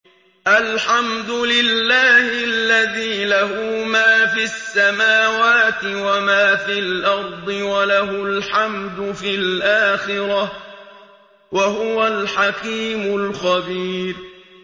الْحَمْدُ لِلَّهِ الَّذِي لَهُ مَا فِي السَّمَاوَاتِ وَمَا فِي الْأَرْضِ وَلَهُ الْحَمْدُ فِي الْآخِرَةِ ۚ وَهُوَ الْحَكِيمُ الْخَبِيرُ